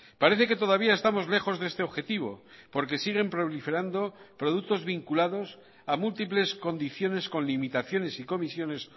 parece que todavía estamos lejos de este objetivo porque siguen proliferando productos vinculados a múltiples condiciones con limitaciones y comisiones